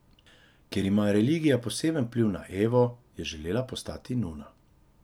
Ker ima religija poseben vpliv na Evo, je želela postati nuna.